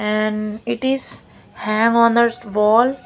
And it is hang on the wall.